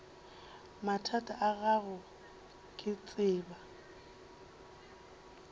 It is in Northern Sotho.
mathata a gago ke tseba